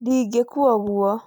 Ndingĩkua ũguo